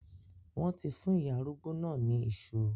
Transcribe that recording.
Wọ́n ti fún ìyá arúgbó náà ní iṣu.